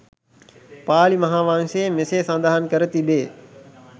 පාලි මහාවංශයේ මෙසේ සඳහන් කර තිබේ.